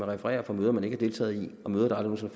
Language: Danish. refererer fra møder man ikke har deltaget i møder der aldrig